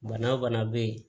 Bana fana bɛ yen